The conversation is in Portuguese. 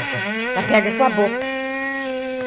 Ela pega com a boca.